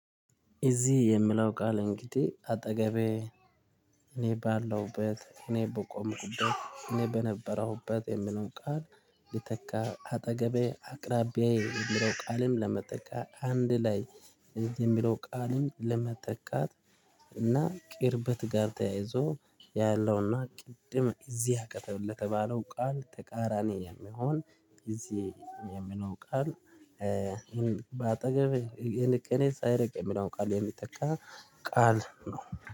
እዚህ የምለው ቃል እንግዲህ አጠገቤ እኔ ባለሁበት እኔ በቆምኩበት እኔ በነበረውበት የሚለዉን ቃል ሊተካ አጠገቤ አቅራቢያዬ የሚለው ቃልም ለመጠቀም አንድ ላይ የሚለው ቃልም ለመተካት እና ቅርበት ጋር ተያይዞ ያለውና ቅድም እዚህ አጠገብ ለተባለው ቃል ተቃራኒ የሚሆን ጊዜ የሚለው ቃል ይሄን በአጠገብ የንቅኔ ሳይርቅ የሚለው ቃል የሚተካ ቃል ነው